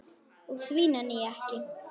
Og því nenni ég ekki.